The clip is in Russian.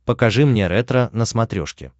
покажи мне ретро на смотрешке